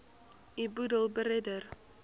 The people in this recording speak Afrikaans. u boedel beredder